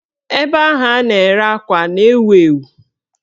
Ebe ahụ a na-ere akwa a na-ewu ewu?